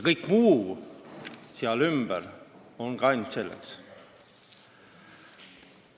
Kõik muu seal ümber on ka ainult selleks.